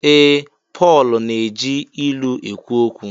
Ee! Pọl na-eji ilu ekwu okwu.